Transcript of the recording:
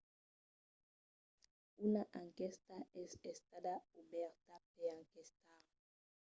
una enquèsta es estada obèrta per enquestar